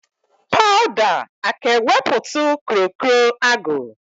Powda aka ewepụtụ kro kro agụ?